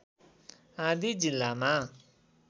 आदि जिल्लामा